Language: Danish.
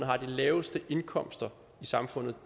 har de laveste indkomster i samfundet